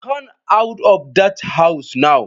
Come out of that house now!